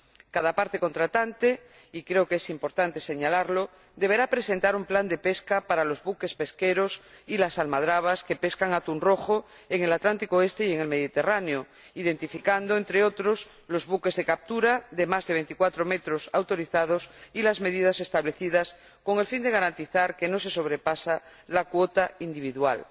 Cada parte contratante y creo que es importante señalarlo deberá presentar un plan de pesca para los buques pesqueros y las almadrabas que pescan atún rojo en el Atlántico oriental y en el Mediterráneo que identifique, entre otros, los buques de captura de más de veinticuatro metros autorizados y las medidas establecidas, con el fin de garantizar que no se sobrepasa la cuota individual.